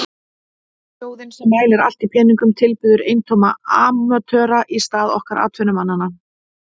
Þjóðin sem mælir allt í peningum tilbiður eintóma amatöra í stað okkar atvinnumannanna.